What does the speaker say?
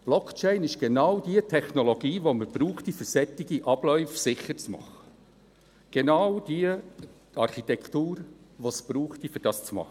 Blockchain ist genau die Technologie, die man bräuchte, um solche Abläufe sicher zu machen – genau die Architektur, die es bräuchte, um dies zu machen.